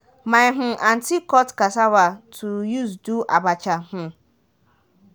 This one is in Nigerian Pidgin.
my um aunty cut cassava to use do abacha um